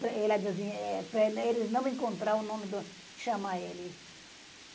Para eles não encontrar o nome do, chamar ele.